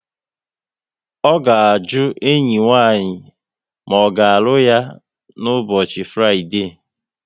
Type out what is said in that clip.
Ọ ga-aju enyi nwaanyi ma ọ ga-alụ ya n' ụbọchị Fraịdee